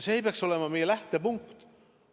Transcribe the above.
See peaks olema meie lähtepunkt.